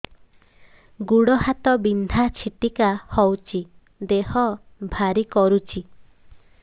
ଗୁଡ଼ ହାତ ବିନ୍ଧା ଛିଟିକା ହଉଚି ଦେହ ଭାରି କରୁଚି